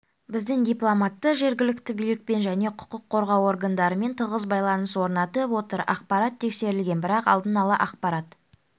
біздің дипломаттар жергілікті билікпен және құқық қорғау органдарыментығыз байланыс орнатып отыр ақпарат тексерілген бірақ алдын ала ақпарат